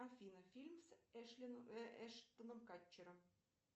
афина фильм с эштоном катчером